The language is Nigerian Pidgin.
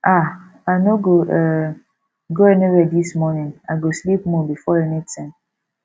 um i no go um go anywhere dis morning i go sleep more before anything